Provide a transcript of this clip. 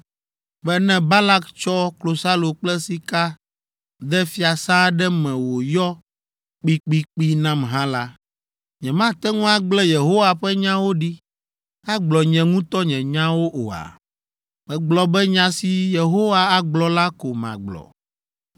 be ne Balak tsɔ klosalo kple sika de fiasã aɖe me wòyɔ kpikpikpi nam hã la, nyemate ŋu agblẽ Yehowa ƒe nyawo ɖi agblɔ nye ŋutɔ nye nyawo oa? Megblɔ be nya si Yehowa agblɔ la ko magblɔ!